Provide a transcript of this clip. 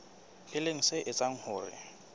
e leng se etsang hore